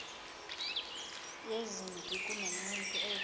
yezempi kunomuntu ozama